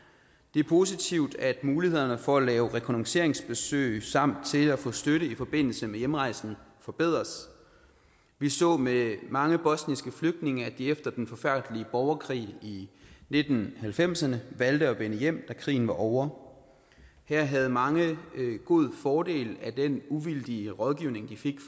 det er positivt at mulighederne for at lave rekognosceringsbesøg samt til at få støtte i forbindelse med hjemrejsen forbedres vi så med mange bosniske flygtninge at de efter den forfærdelige borgerkrig i nitten halvfemserne valgte at vende hjem da krigen var ovre her havde mange god fordel af den uvildige rådgivning de fik